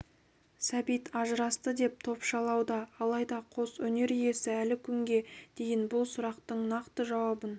сәбит ажырасты деп топшылауда алайда қос өнер иесі әлі күнге дейін бұл сұрақтың нақты жауабын